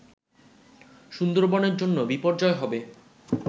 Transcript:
সুন্দরবনের জন্য বিপর্যয় হবে